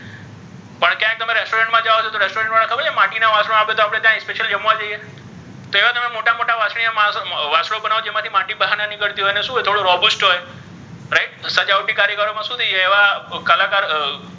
મા જાઓ છો તો તમને ખબર છે રેસ્ટોરન્ટ મા માટી ના વાસણો આપે તો આપ્ણે ત્યા special જમવા જઇએ છીએ તો એવા તમે મોટા મોટા મા વાસણો બનાવે તો ઍમાથી માટી બહાર નીકળતી હોય અને ઍમા શુ હોય થોડુ robust હોય right સજાવટી કારીગરો મા શુ થઇ જાય એવા કલાકાર્,